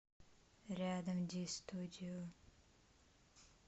рядом ди студио